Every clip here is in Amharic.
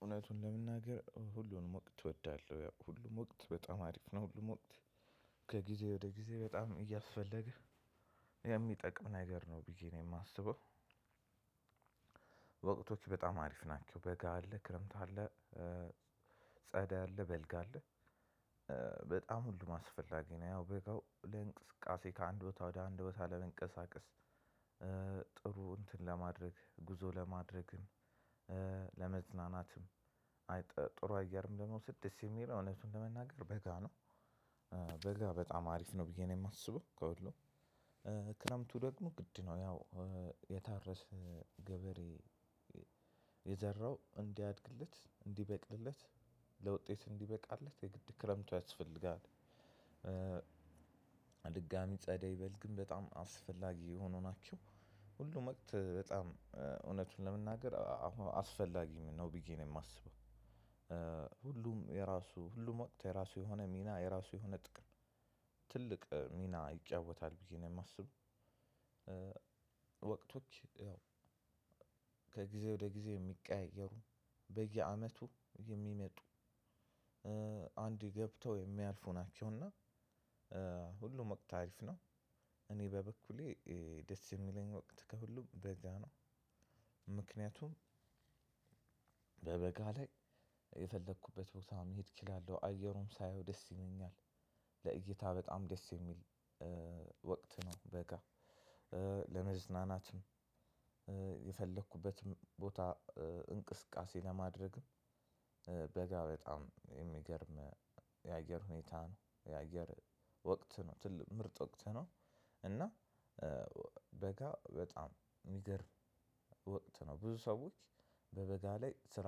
እውነቱን ለመናገር ሁሉም ወቅት እወዳለሁ ያው ሁሉም ወቅት በጣም አሪፍ ነው ሁሉም ወቅት ከጊዜ ወደ ጊዜ በጣም እያስፈለገ የሚጠቅም ነገር ነው ቢዬ ነው እማስበው። በጣም አሪፍ ናቸው በጋ አለ ክረምት አለ። ጸዳ አለ በልግ አለ። በጣም ሁሉ አስፈላጊ ነው። ያው በጋው ለእንቅስቃሴ ከአንድ ቦታ ወደ አንድ ቦታ ለመንቀሳቀስ። ጥሩ እንትን ለማድረግ ጉዞ ለማድረግ ለመዝናናትም አይ ጥሩ አየርም ደሞ ስድስ እሚለው እውነቱን ለመናገር በጋ ነው። በጋ በጣም አሪፍ ነው ብዬ ነው እማስበው። ከሁሉም ክረምቱ ደሞ ግድ ነው ያው የታረሰ ገበሬ የዘራው እዲያድግለት እዲበቅልለት ለውጤት እዲበቃለት የግድ ክረምቱ ያስፈልጋል። ድጋሚ ጸደይ በል ግን በጣም አስፈላጊ የሆኑ ናቸው። ሁሉም ወቅት በጣም እውነቱን ለመናገር አሁን አስፈላጊም ነው ቢዬ እማስበው። ሁሉም የራሱ ሁሉም ወቅት የራሱ የሆነ ሚና የራሱ የሆነ ጥቅም ትልቅ ሚና ይጫወታል ብዬ ነው እማስበው። ወቅቶች ያው ከ ጊዜ ወደ ጊዜ እሚቀያየሩ በየአመቱ የሚመጡ አንዴ ገብተው እሚያልፉ ናቸውና ሁሉም ወቅት አሪፍ ነው። እኔ በበኩሌ ደስ እሚለኝ ወቅት ከሁሉም በጋ ነው። ምክንያቱም በበጋ ላይ የፈለኩበት ቦታ መሄድ እችላለው አየሩም ሳየው ደስ ይለኛል። ለእይታ በጣም ደስ እሚል ወቅት ነው በጋ ለመዝናናትም የፈለኩበትም ቦታ እንቅስቃሴ ለማድረግም በጋ በጣም እሚገርም የአየር ሁኔታ ነው። የአገር ወቅት ነው ምርጥ ወቅት ነው። እና በጋ በጣም እሚገርም ወቅት ነው። ብዙ ሰዎች በበጋ ላይ ስራ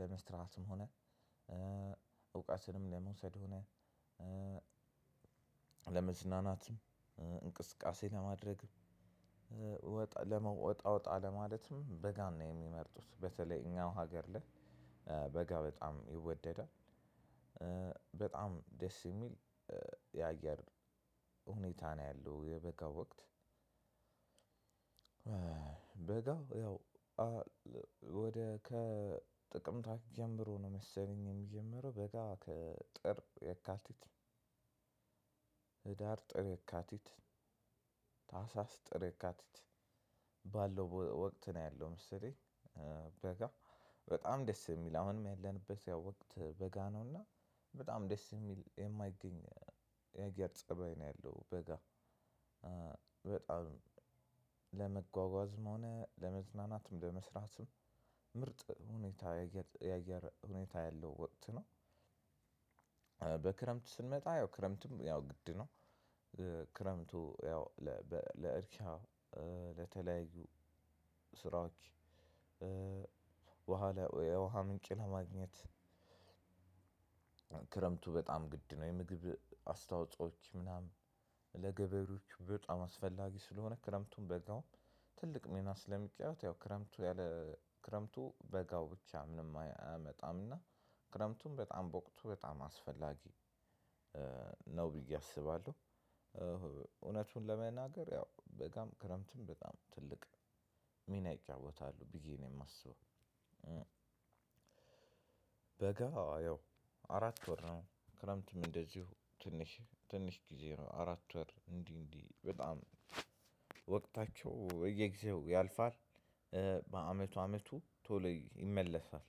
ለመስራትም ሆነ እውቀትንም ለመውሰድ ሆነ ለመዝናናትም እንቅስቃሴ ለማድረግም ወጣ ለመ ወጣ ወጣ ለማለትም በጋን የሚመርጡት በተለይ እኛው ሀገር ላይ በጋ በጣም ይወደዳል። በጣም ደስ እሚል የአየር ሁኔታ ነው ያለው የበጋ ወቅት። በጋ ያው ወደ ከጥቅምት ጀምሮ ነው መሰለኝ እሚጀምረው በጋ ከጥር የካቲት ህዳር ጥር የካቲት ታህሳስ ጥር የካቲት ባለው ወቅት ነው ያለው መሰለኝ። በጣም ደስ የሚል አሁንም ያለንበት ያው ወቅት በጋ ነው እና በጣም ደስ እሚል የማይገኝ የአየር ፀባይ ነው ያለው በጋ። በጣም ሆነ ለመዝናናትም ለመስራትም ምርጥ ሁኔታ የአየር ሁኔታ ያለው ወቅት ነው። በክረምት ስንመጣ ያው ክረምትም ያው ግድ ነው ክረምቱ ያው ለእርሻ ለተለያዩ ስራዎች በኋላ የውሃ ምንጭ ለማግኘት ክረምቱ በጣም ግድ ነው። የምግብ አስተዋጾዎች ምናምን ለገበሬዎች በጣም አስፈላጊ ስለሆነ ክረምቱም በጋውም ትልቅ ሚና ስለሚጫወት ያው ክረምቱ ያለ ክረምቱ በጋው ብቻ ምንም አያመጣም እና ክረምቱም በጣም በወቅቱ በጣም አስፈላጊ ነው ብዬ አስባለሁ። እውነቱን ለመናገር ያው በጋም ክረምትም በጣም ትልቅ ሚና ይጫወታሉ ቢዬ ነው እማስበው። በጋ ያው አራት ወር ነው ክረምትም እንደዚሁ ትንሽ ትንሽ ጊዜ ነው አራት ወር እንዲህ እንዲህ በጣም ወቅታቸው የየጊዜው ያልፋል በአመቱ አመቱ ቶሎ ይመለሳል።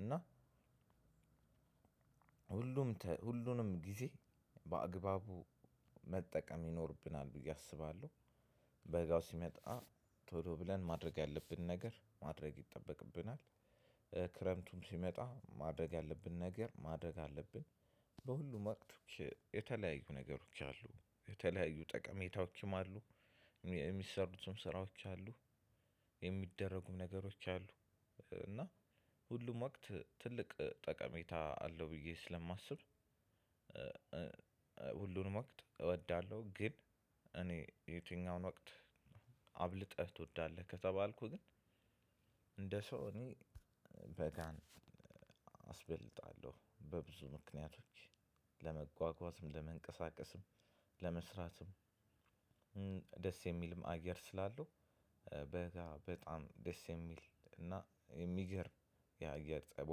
እና ሁሉም ሁሉንም ጊዜ በአግባቡ መጠቀም ይኖርብናል ብዬ አስባለሁ። በጋው ሲመጣ ቶሎ ብለን ማድረግ ያለብን ነገር ማድረግ ይጠበቅብናል። ክረምቱም ሲመጣ ማድረግ ያለብን ነገር ማድረግ አለብን። በሁሉም ወቅት የተለያዩ ነገሮች አሉ የተለያዩ ጠቀሜታዎችም አሉ የሚሰሩትም ስራዎች አሉ የሚደረጉም ነገሮች አሉ እና ሁሉም ወቅት ትልቅ ጠቀሜታ አለው ብዬ ስለማስብ። ሁሉንም ወቅት እወዳለሁ። ግን እኔ የትኛውን ወቅት አብልጠህ ትወዳለህ? ከተባልኩህ ግን እንደ ሰው እኔ በጋን አስበልጣለሁ በብዙ ምክንያቶች ለመጓጓዝም ለመንቀሳቀስም ለመስራትም ደስ የሚልም አየር ስላለው በጋ በጣም ደስ የሚል እና የሚገር የአየር ጸቦ